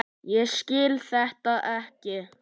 Ég skil þetta ekki.